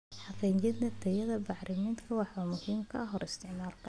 Xaqiijinta tayada bacriminta waa muhiim ka hor isticmaalka.